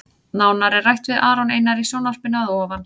Nánar er rætt við Aron Einar í sjónvarpinu að ofan.